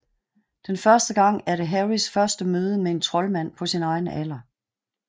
Den første gang er det Harrys første møde med en troldmand på sin egen alder